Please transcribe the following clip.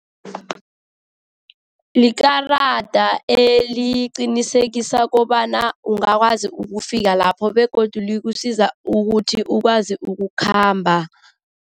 Likarada eliqinisekisa kobana ungakwazi ukufika lapho begodu likusiza ukuthi ukwazi ukukhamba.